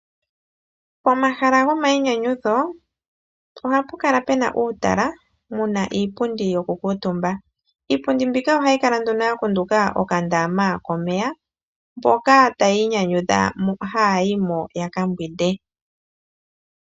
Pomahala gomayinyanyudho, ohapu kala pe na uutala, mu na iipundi yoku kuutumba. Iipundi mbika oha yi kala nduno ya kunduka okandaama komeya mboka tayi inyanyudha haa yi mo, ya ka mbwinde.